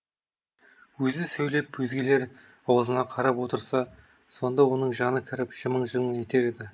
өзі сөйлеп өзгелер аузына қарап отырса сонда оның жаны кіріп жымың жымың етер еді